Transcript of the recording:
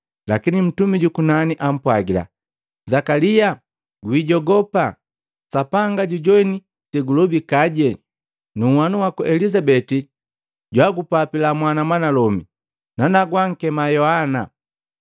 Lakini ntumi jukunani ampwagila, “Zakalia, gwijogopa! Sapanga jujoine segulobikaje. Nu nhwanu waku Elizabeti jwagupapila mwana mwanalome, nanagu wankema Yohana.